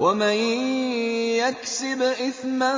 وَمَن يَكْسِبْ إِثْمًا